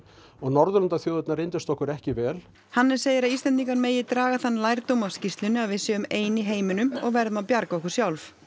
og Norðurlandaþjóðirnar reyndust okkur ekki vel Hannes segir að Íslendingar megi draga megi þann lærdóm af skýrslunni að við séum ein í heiminum og verðum að bjarga okkur sjálf